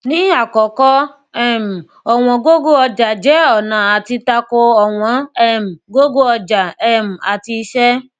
ní àkọkọ um ọwọn gogo ọjà jẹ ọnà àti tako ọwọn um gogo ọjà um àti iṣẹ